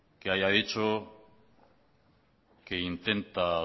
que haya dicho que intenta